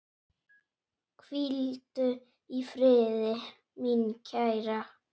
Hvíldu í friði, mín kæra.